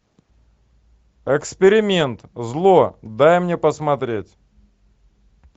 эксперимент зло дай мне посмотреть